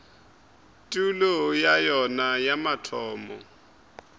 tulo ya yona ya mathomo